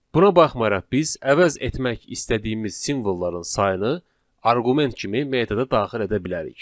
Buna baxmayaraq, biz əvəz etmək istədiyimiz simvolları sayını arqument kimi metoda daxil edə bilərik.